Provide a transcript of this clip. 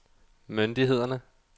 myndighederne